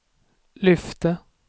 lyfte